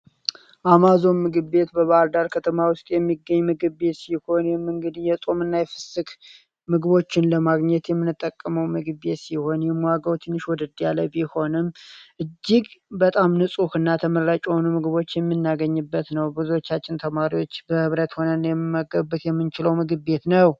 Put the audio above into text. አማዞን ምግብ ቤት በባህርዳር ከተማ ውስጥ የሚገኝ ምግብ ቤት ሲሆን፤ ይህም እንግዲህ የጾም እና የይፍስክ ምግቦችን ለማግኘት የሚንጠቀመው ምግብ ቤት ሲሆን ፤ ዋጋው ትንሽ ወደድ ያለ ቢሆንም እጅግ በጣም ንጹህ እና ተመራጭ ሆኑ ምግቦች የሚናገኝበት ነው። ብዙቻችን ተማሪዎች በህብረት ሆነን የመገብት የምንችለው ምግብ ቤት ነው።